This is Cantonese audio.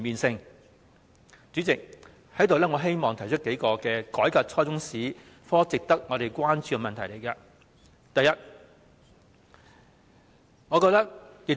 主席，我希望在此提出改革初中中史科時值得關注的數個問題。